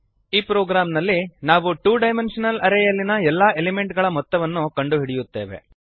ಈ ಪ್ರೊಗ್ರಾಮ್ ನಲ್ಲಿ ನಾವು ಟು ಡೈಮೆಂಶನಲ್ ಅರೇ ಯಲ್ಲಿನ ಎಲ್ಲಾ ಎಲಿಮೆಂಟ್ ಗಳ ಮೊತ್ತವನ್ನು ಕಂಡುಹಿಡಿಯುತ್ತೇವೆ